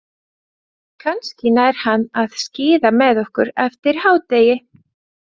Kannski nær hann að skíða með okkur eftir hádegi.